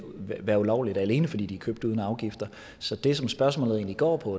være ulovligt alene fordi de købt uden afgifter så det som spørgsmålet egentlig går på